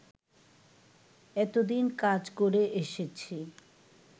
এতদিন কাজ করে এসেছি